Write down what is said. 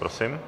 Prosím.